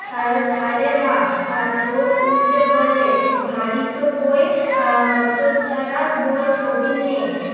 ধার ধারেনা। ঠোঁট উল্টে বলে ভারী তো বই আহ হতচ্ছাড়া বই ছবি নেই।